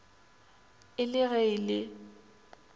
e le ge e le